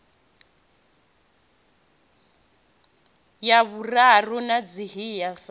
ya vhuraru i ḓivhea sa